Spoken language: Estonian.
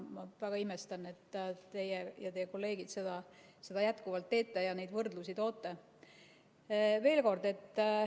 Ma väga imestan, et teie ja teie kolleegid seda jätkuvalt teete ja neid võrdlusi toote.